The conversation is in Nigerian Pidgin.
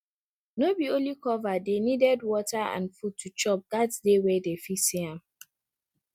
no be only cover dey needed water and food to chop gats dey where dem fit see am